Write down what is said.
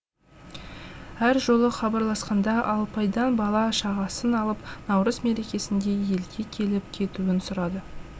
әр жолы хабарласқанда алпайдан бала шағасын алып наурыз мерекесінде елге келіп кетуін сұрады